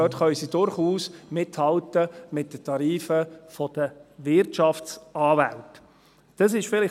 Dort können sie durchaus mit den Tarifen der Wirtschaftsanwälte mithalten.